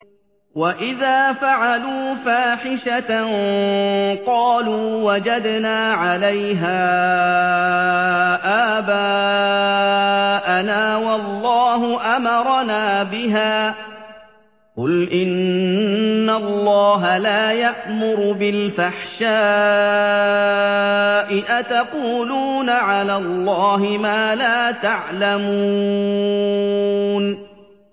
وَإِذَا فَعَلُوا فَاحِشَةً قَالُوا وَجَدْنَا عَلَيْهَا آبَاءَنَا وَاللَّهُ أَمَرَنَا بِهَا ۗ قُلْ إِنَّ اللَّهَ لَا يَأْمُرُ بِالْفَحْشَاءِ ۖ أَتَقُولُونَ عَلَى اللَّهِ مَا لَا تَعْلَمُونَ